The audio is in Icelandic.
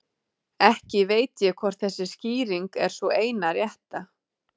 Ekki veit ég hvort þessi skýring er sú eina rétta.